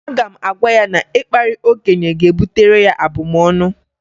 Aga m agwa ya na ịkparị okenye ga-ebutere ya abụmọnụ